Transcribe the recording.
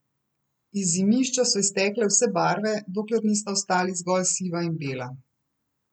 Iz Zimišča so iztekle vse barve, dokler nista ostali zgolj siva in bela.